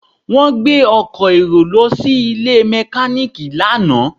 Wọ́n gbé ọkọ̀ èrò lọ sí ilé mẹkáníìkì lánàá